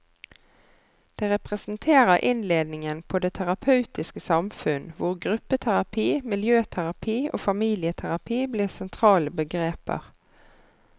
Det representerer innledningen på det terapeutiske samfunn, hvor gruppeterapi, miljøterapi og familieterapi blir sentrale begreper.